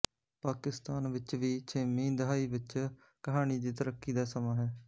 ਪਾਕਿਸਤਾਨ ਵਿੱਚ ਵੀ ਛੇਵੀਂ ਦਹਾਈ ਵਿੱਚ ਕਹਾਣੀ ਦੀ ਤਰੱਕੀ ਦਾ ਸਮਾਂ ਹੈ